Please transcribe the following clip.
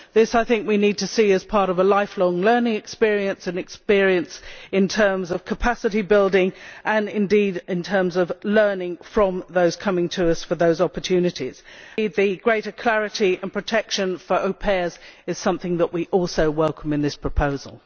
I think we need to see this as part of a lifelong learning experience, an experience in terms of capacity building and indeed in terms of learning from those coming to us for those opportunities the greater clarity and protection for au pairs is something we also welcome in this proposal.